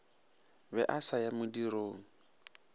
be a sa ya modirong